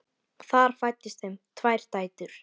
Þar fæddust þeim tvær dætur.